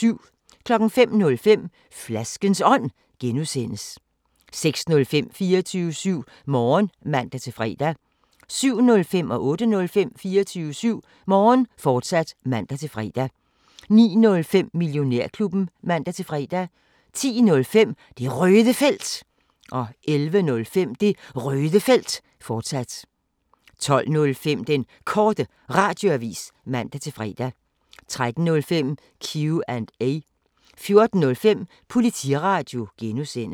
05:05: Flaskens Ånd (G) 06:05: 24syv Morgen (man-fre) 07:05: 24syv Morgen, fortsat (man-fre) 08:05: 24syv Morgen, fortsat (man-fre) 09:05: Millionærklubben (man-fre) 10:05: Det Røde Felt 11:05: Det Røde Felt, fortsat 12:05: Den Korte Radioavis (man-fre) 13:05: Q&A 14:05: Politiradio (G)